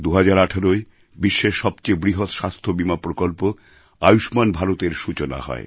২০১৮য় বিশ্বের সবচেয়ে বৃহৎ স্বাস্থ্যবীমা পরিকল্পনা আয়ুষ্মান ভারতএর সূচনা হয়